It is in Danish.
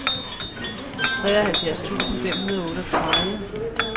treoghalvfjerds tusind fem hundrede og otteogtredive